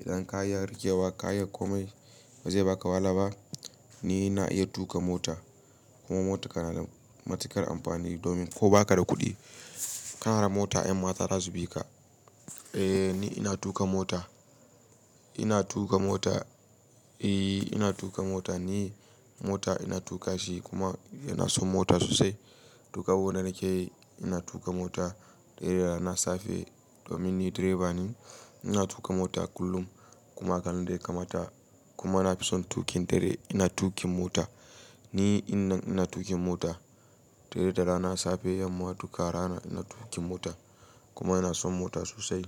Idan ka iya rikewa ka ya komai ba zai baka wahala ba. Ni ina iya tuƙa mota kuma mota kana matukar amfani domin ko ba ka da kuɗi, kana da mota yan mata za su bi ka. Eh ni ina tuƙa mota, ina tuƙa mota, eh ina tuƙa mota ni. Mota ina tuƙa shi kuma ina son mota sosai. Tuƙa abu na da kyau, ina tuƙa mota eh da rana safe domin ni direba ne. Ina tuƙa mota kullum kuma karan da ya kamata kuma na fi son tuƙin dare. Ina tuƙin mota, ni in na ina tuƙin mota tire da rana safe, yamma tuƙa rana ina tuƙin mota kuma ina son mota sosai.